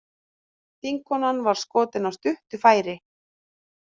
Þingkonan var skotin af stuttu færi